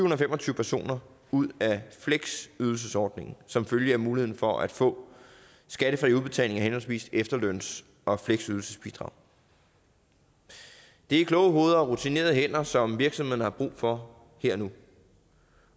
og fem og tyve personer ud af fleksydelsesordningen som følge af muligheden for at få skattefri udbetaling af henholdsvis efterløns og fleksydelsesbidrag det er kloge hoveder og rutinerede hænder som virksomhederne har brug for her og nu